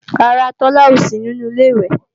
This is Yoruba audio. Rárá, Tola ò sí nínú Ilé-ìwẹ̀